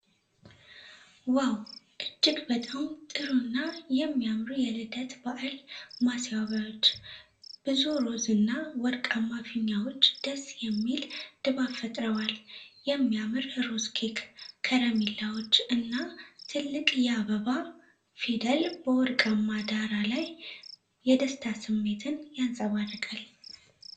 ዋው! እጅግ በጣም ጥሩ እና የሚያምሩ የልደት በዓል ማስዋቢያዎች። ብዙ ሮዝ እና ወርቃማ ፊኛዎች ደስ የሚል ድባብ ፈጥረዋል። የሚያምር ሮዝ ኬክ፣ ከረሜላዎች እና ትልቅ የአበባ "E" ፊደል በወርቃማ ዳራ ላይ የደስታ ስሜትን ያንጸባርቃል።